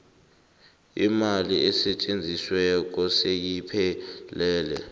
imali esetjenzisiweko seyiphelele